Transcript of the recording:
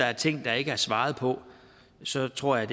er ting der ikke er svaret på så tror jeg